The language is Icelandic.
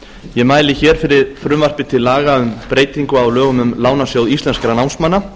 ég mæli fyrir frumvarpi til laga um breytingu á lögum um lánasjóð íslenskum námsmanna